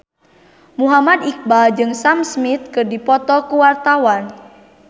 Muhammad Iqbal jeung Sam Smith keur dipoto ku wartawan